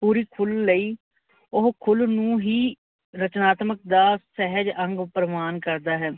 ਪੂਰੀ ਖੁੱਲ ਲਈ ਓਹੋ ਖੁੱਲ ਨੂੰ ਹੀ ਰਚਨਾਤਮਕ ਦਾ ਸਹਿਜ ਅੰਗ ਪ੍ਰਵਾਨ ਕਰਦਾ ਹੈ।